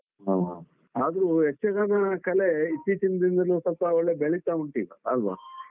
ಹ ಹ ಆದ್ರೂ ಯಕ್ಷಗಾನ ಕಲೆ ಇತ್ತೀಚಿನ ದಿನದಲ್ಲೂ ಸ್ವಲ್ಪ ಒಳ್ಳೆ ಬೆಳಿತಾ ಉಂಟೀಗ ಅಲ್ವಾ?